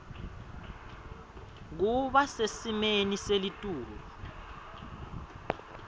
kuba sesimeni selitulu